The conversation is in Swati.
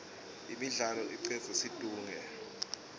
imidlalo icedza situnge